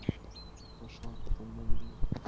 пошла потом малину